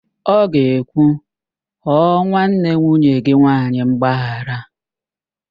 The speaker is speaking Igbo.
Ọ ga-ekwu, ghọọ nwanne nwunye gị nwaanyị mgbaghara!